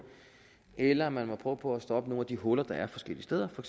eller man må prøve på at stoppe nogle af de huller der er forskellige steder for